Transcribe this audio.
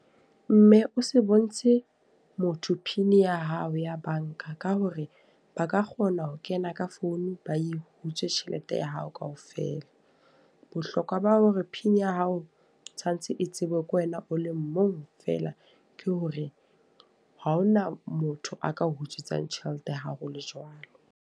Mme o se bontshe motho pin ya hao ya banka. Ka hore ba ka kgona ho kena ka founu ba e hutse tjhelete ya hao ka ofela. Bohlokwa ba hore ng pin ya hao tshwanetse e tsebuwe ke wena o le mong fela. Ke hore ha hona motho a ka o utswetsang tjhelete ya hao o le jwalo.